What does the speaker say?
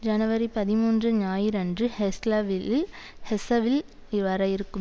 ஜனவரி பதிமூன்று ஞாயிறன்று ஹெஸ்லவில் ஹெஸ்ஸவில் வர இருக்கும்